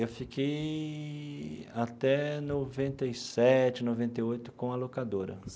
Eu fiquei até noventa e sete, noventa e oito com a locadora.